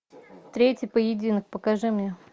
третий поединок покажи мне